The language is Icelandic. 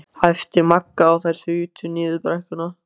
. æpti Magga og þær þutu niður brekkuna.